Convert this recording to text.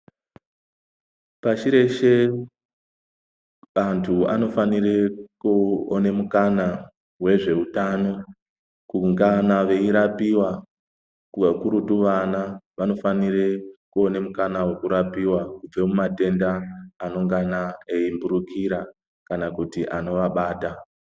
Pashi reshe antu anofanire kuone mukana wezveutano kungana veirapiwa . Kakurutu vana vanofanire kuone mukana wekurapiwa kuitirawo matenda anoungana eimburukira kana kuti anoabata.